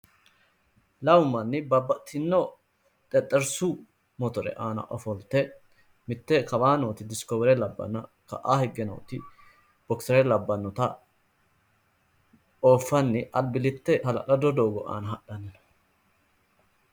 lamu manni babbaxitino xexerisu motore aana ofolte mitte kawaa nooti diskowere labbanna ka'aa higge nooti bokisere labbanna nota ooffanni albilitte hala'lado doogo aana hadhanni no.